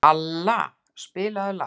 Alla, spilaðu lag.